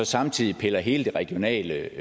samtidig piller hele det regionale